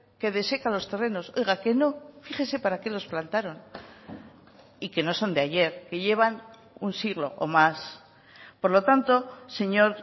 que deseca los terrenos oiga que no fíjese para qué los plantaron y que no son de ayer que llevan un siglo o más por lo tanto señor